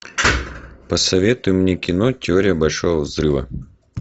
посоветуй мне кино теория большого взрыва